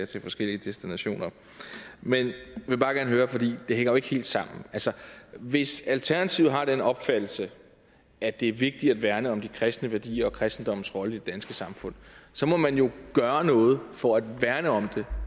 til forskellige destinationer men det hænger jo ikke helt sammen altså hvis alternativet har den opfattelse at det er vigtigt at værne om de kristne værdier og kristendommens rolle i det danske samfund så må man jo gøre noget for at værne om det